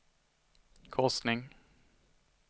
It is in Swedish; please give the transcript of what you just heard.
korsning